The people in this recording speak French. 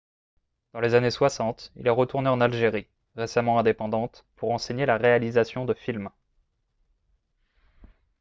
dans les années 60 il est retourné en algérie récemment indépendante pour enseigner la réalisation de films